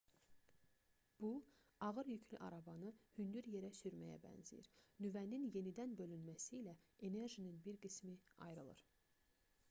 bu ağır yüklü arabanı hündür yerə sürməyə bənzəyir nüvənin yenidən bölünməsi ilə enerjinin bir qismi ayrılır